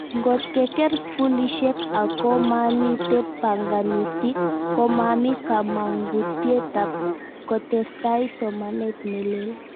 Ngot keker skulishek akomamite banganutik, komami kamangutietab kotestai somanet nelel